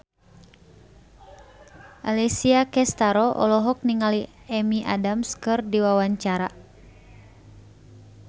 Alessia Cestaro olohok ningali Amy Adams keur diwawancara